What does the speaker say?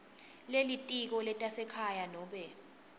lelitiko letasekhaya nobe